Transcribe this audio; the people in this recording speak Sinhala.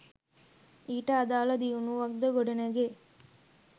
ඊට අදාළ දියුණුවක් ද ගොඩනැගේ